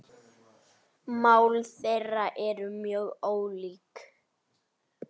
Mál þeirra eru mjög ólík.